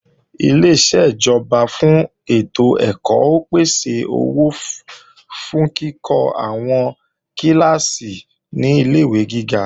Ileṣẹ́ ìjọba fún ètò ẹ̀kọ́ ó pèsè owó fún kíkọ́ àwọn kíláàsì ní ilé-ìwé gíga